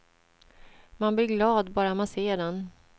Man blir glad bara man ser den.